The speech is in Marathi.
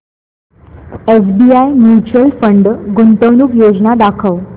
एसबीआय म्यूचुअल फंड गुंतवणूक योजना दाखव